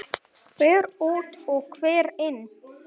Hver út og hver inn?